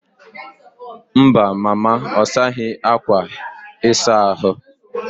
Mba, mama ọ saghị akwa ịsa ahụ.